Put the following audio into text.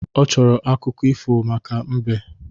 Ọ chọrọ akụkọ ifo maka mbe